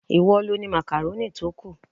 Ìwọ lo ni makaroni tó kù.